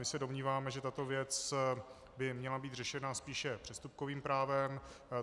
My se domníváme, že tato věc by měla být řešena spíše přestupkovým právem.